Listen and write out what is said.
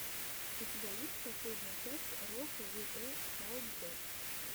у тебя есть последняя часть рокавиэсалдос